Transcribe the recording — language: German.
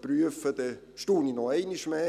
prüfen, staune ich noch einmal mehr.